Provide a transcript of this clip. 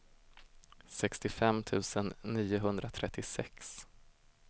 sextiofem tusen niohundratrettiosex